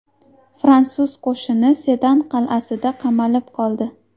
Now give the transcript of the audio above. Fransuz qo‘shini Sedan qal’asida qamalib qoldi.